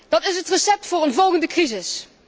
Dat is het recept voor een volgende crisis.